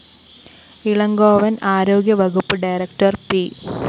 ഇളങ്കോവന്‍ ആരോഗ്യവകുപ്പ് director P